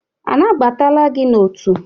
A n'agbatala gi n'otu?